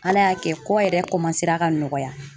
Ala y'a kɛ kɔ yɛrɛ ka nɔgɔya.